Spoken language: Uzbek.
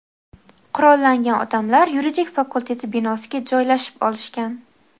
qurollangan odamlar yuridik fakulteti binosiga joylashib olishgan.